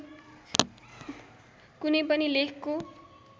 कुनै पनि लेखको